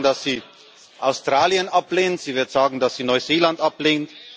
Sie wird sagen, dass sie Australien ablehnt. Sie wird sagen, dass sie Neuseeland ablehnt.